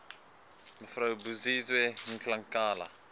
mev buziwe ngaleka